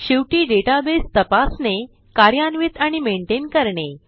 शेवटी डेटाबेस तपासणे कार्यान्वित आणि मेनटेन करणे